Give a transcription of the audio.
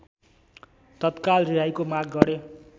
तत्काल रिहाइको माग गरे।